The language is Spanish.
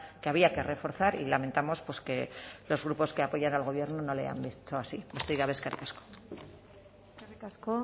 que había que reforzar y lamentamos que los grupos que apoyan al gobierno no le han visto así besterik gabe eskerrik asko eskerrik asko